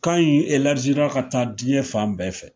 Kan in ka taa diɲɛ fan bɛɛ fɛ.